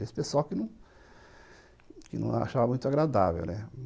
Esse pessoal que que não achava muito agradável, né?